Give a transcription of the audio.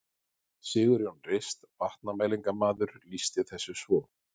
Sigurjón Rist vatnamælingamaður lýsti þessu svo: